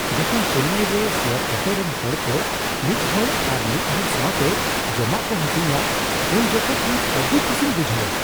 ᱡᱚᱠᱷᱚᱱ ᱪᱮᱱᱱᱟᱭ ᱨᱮ share auto ᱨᱮᱱ ᱦᱚᱲᱠᱚ ᱢᱤᱫ ᱦᱚᱲ ᱟᱨ ᱢᱤᱫ ᱦᱚᱲ ᱥᱟᱣᱛᱮ ᱡᱚᱢᱟᱜ ᱠᱚ ᱦᱟᱹᱴᱤᱧᱟ ᱩᱱ ᱡᱚᱠᱷᱮᱱ ᱤᱧ ᱟᱹᱰᱤ ᱠᱩᱥᱤᱧ ᱵᱩᱡᱷᱟᱹᱣᱟ ᱾